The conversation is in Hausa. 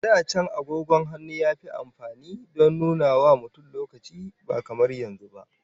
A da can, agogon hannun yafi amfani don nunawa mutum lokaci, ba kamar yanzu ba.